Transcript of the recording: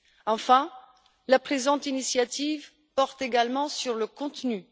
Enfin, la présente initiative porte également sur le contenu.